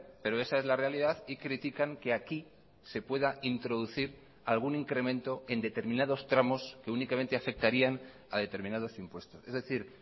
pero esa es la realidad y critican que aquí se pueda introducir algún incremento en determinados tramos que únicamente afectarían a determinados impuestos es decir